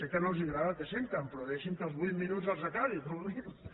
que no els agrada el que senten però deixin me que els vuit minuts els acabi com a mínim